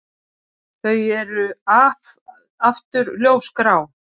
Þau eru aftur ljósgrá.